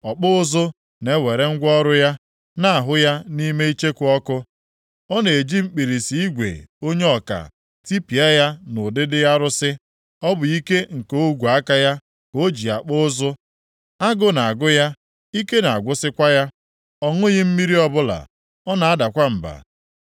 Ọkpụ ụzụ na-ewere ngwa ọrụ ya na-ahụ ya nʼime icheku ọkụ, ọ na-eji mkpirisi igwe onye ọka tipịa ya nʼụdịdị arụsị, ọ bụ ike nke ogwe aka ya ka o ji akpụ ụzụ. Agụ na-agụ ya, ike na-agwụsịkwa ya; ọ ṅụghị mmiri ọbụla, ọ na-adakwa mba.